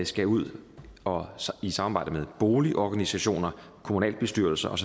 skal ud og i samarbejde med boligorganisationer kommunalbestyrelser og